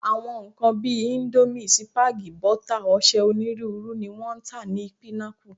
Àwọn nǹkan bí i íńdómì, sípágì, bọ́tà, ọṣẹ onírúurú ni wọ́n ń tà ní Pinnacle.